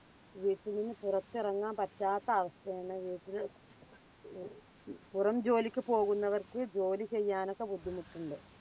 വീട്ടിൽനിന്ന് പുറത്തിറങ്ങാൻ പറ്റാത്ത അവസ്ഥായാണ് വീട്ടിൽ പുറംജോലിക്ക് പോകുന്നവർക്ക് ജോലിചെയ്യാനോക്കെ ബുദ്ധിമുട്ടുണ്ട്.